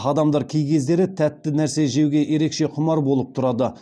адамдар кей кездері тәтті нәрсе жеуге ерекше құмар болып тұрады